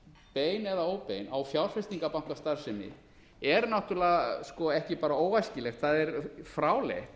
bein eða óbein á fjárfestingarbankastarfsemi er náttúrlega sko ekki bara óæskileg það er fráleitt